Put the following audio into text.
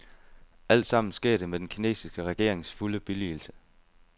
Altsammen sker det med den kinesiske regerings fulde billigelse.